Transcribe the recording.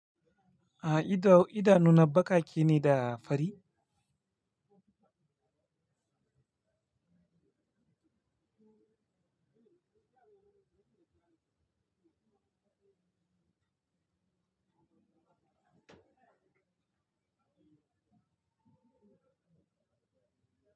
A to idanuna baƙaƙe ne da fari?